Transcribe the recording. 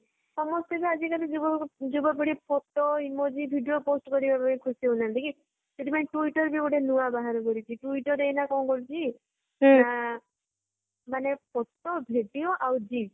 ସମସ୍ତେ ଆଜି କଲି ଯୁବ ଯୁବପିଢୀ photo, emoji, video post କରିବାପାଇଁ ଖୁସି ହେଉନାହାନ୍ତି କି ସେଥିପାଇଁ twitter ବି ଗୋଟେ ନୂଆ ବାହାର କରିଛି twitter ଏଇନା କଣ କରୁଛି ନା ମାନେ photo ,video ଆଉ GIF